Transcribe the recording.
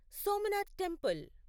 Somnath temple